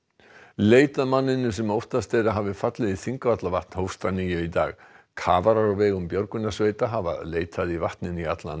leit að manninum sem óttast er að hafi fallið í Þingvallavatn hófst að nýju í dag kafarar á vegum björgunarsveita hafa leitað í vatninu í allan